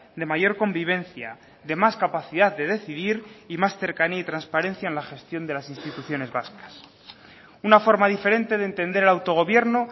de mayor convivencia de más capacidad de decidir y más cercanía y transparencia en la gestión de las instituciones vascas una forma diferente de entender el autogobierno